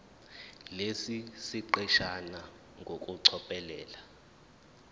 lesi siqeshana ngokucophelela